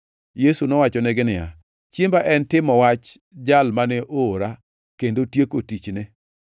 Yesu nowachonegi niya, “Chiemba en timo dwach Jal mane oora kendo tieko tichne.